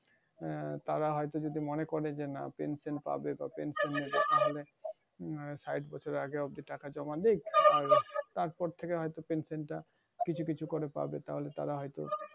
আহ তারা হয়তো মনে করে যে না pension পাবে আহ শাটবছর আগে জমালেই আর তারপর থেকে হয়তো pension টা কিছু কিছু করে পাবে। তাহলে তারা হয়তো,